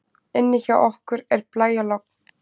Inni hjá okkur er blæjalogn.